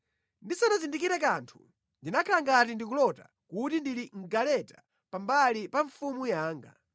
Ndisanazindikire kanthu, ndinakhala ngati ndikulota kuti ndili mʼgaleta pambali pa mfumu yanga.